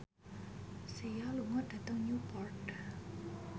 Sia lunga dhateng Newport